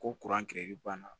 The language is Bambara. Ko banna